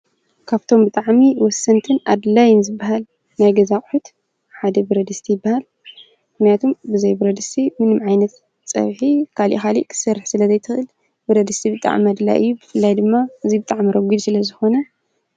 ካብቶም ብጣዕሚ ወሰንትን ኣድላይን ዝበሃል ናይ ገዛ ኣቁሑት ሓደ ብረድስቲ ይበሃል ።ምክንያቱም ብዘይ ብረድስቲ ምንም ዓይነት ፀብሒ ካሊእ ካሊእ ክትሰርሕ ስለ ዘይትኽእል ብረድስቲ ብጣዕሚ ኣድላዪ እዩ። ብፍላይ ድማ ብጣዕሚ ረጉድ ስለዝኮነ ...